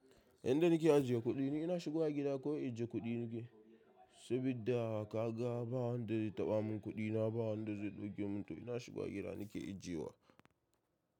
Inda nake ajiye kuɗi ni ina shigowa gida ko in ajiye kuɗi nike saboda kaga ba wanda zai taɓa min kuɗi na ba wanda zai ɗauke min to ina shiga gida nake ajiyewa.